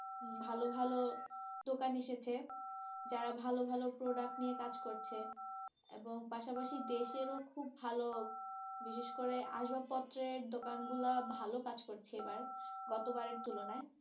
ভালো ভালো দোকান এসেছে যারা ভালো ভালো product নিয়ে কাজ করছে, এবং পাশাপাশি দেশের ও খুব ভালো, বিশেষ করে আসবাসপত্র এর দোকান গুলো ভালো কাজ করছে এবার, গতবারের তুলনায়।